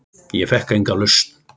Ég fékk enga lausn.